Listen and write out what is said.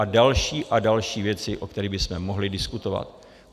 A další a další věci, o kterých bychom mohli diskutovat.